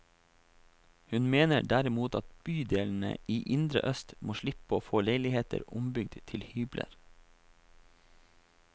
Hun mener derimot at bydelene i indre øst må slippe å få leiligheter ombygd til hybler.